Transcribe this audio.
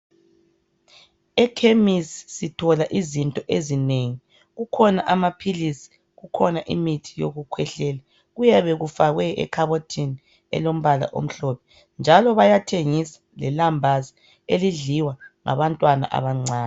Ekhemisi sithola izinto ezinengi, kukhona amaphilisi, kukhona imithi yokukhwehlela, kuyabe kufakwe ekhabothini elombala omhlophe, njalo bayathengisa lelambazi elidliwa ngabantwana abancane.